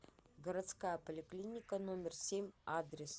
городская поликлиника номер семь адрес